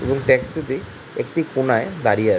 এবং ট্যাক্সি -টি একটি কোনায় দাঁড়িয়ে আছে ।